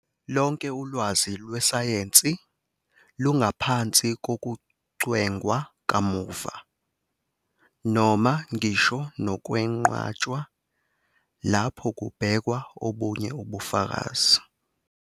Lonke ulwazi lwesayensi lungaphansi kokucwengwa kamuva, noma ngisho nokwenqatshwa, lapho kubhekwa obunye ubufakazi.